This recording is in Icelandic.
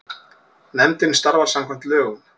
Nefndin starfar samkvæmt lögum.